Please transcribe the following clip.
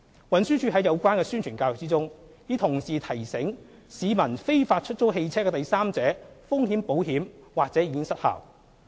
運輸署在有關的宣傳教育中，已同時提醒市民非法出租汽車的第三者風險保險或已失效。